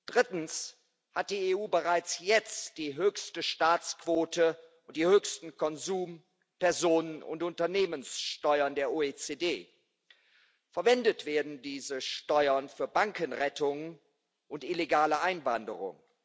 Drittens hat die EU bereits jetzt die höchste Staatsquote und die höchsten Konsum Personen und Unternehmenssteuern der OECD. Verwendet werden diese Steuern für Bankenrettungen und illegale Einwanderung.